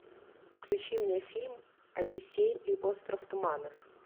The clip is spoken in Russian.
включи мне фильм одиссей и остров туманов